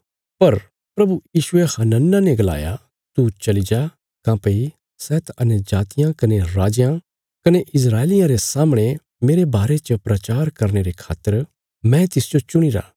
पर प्रभु यीशुये हनन्याह ने गलाया तू चली जा काँह्भई सै त अन्यजातियां कने राजयां कने इस्राएलियां रे सामणे मेरे बारे च प्रचार करने रे खातर मैं तिसजो चुणीरा